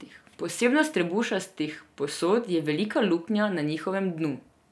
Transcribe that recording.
Posebnost trebušastih posod je velika luknja na njihovem dnu.